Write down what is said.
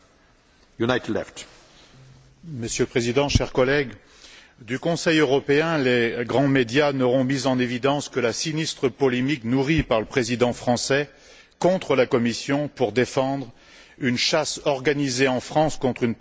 Monsieur le Président, chers collègues, du Conseil européen, les grands médias n'auront mis en évidence que la sinistre polémique nourrie par le président français contre la Commission pour défendre une chasse organisée en France contre une partie de la population européenne, les Roms.